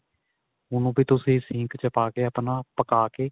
ਉਹਨੂੰ ਵੀ ਤੁਸੀਂ ਸੀਂਖ ਚ ਪਾ ਕੇ ਆਪਣਾ ਪਕਾ ਕੇ